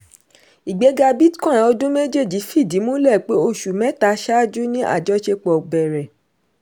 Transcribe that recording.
ìgbéga bitcoin ọdún méjéèjì fìdí múlẹ̀ pé oṣù mẹ́ta ṣáájú ni àjọṣepọ̀ bẹ̀rẹ̀.